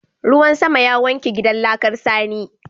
Ruwan sama ya wanke gidan laƙar sani.